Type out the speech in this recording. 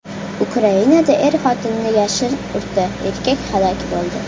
Ukrainada er-xotinni yashin urdi, erkak halok bo‘ldi.